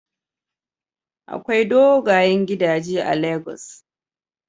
Akwai dogayen gidaje a Lagos.